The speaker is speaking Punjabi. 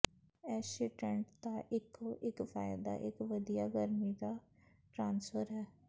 ਇਸ ਸ਼ੀਟੈਨਟ ਦਾ ਇਕੋ ਇਕ ਫਾਇਦਾ ਇਕ ਵਧੀਆ ਗਰਮੀ ਦਾ ਟ੍ਰਾਂਸਫਰ ਹੈ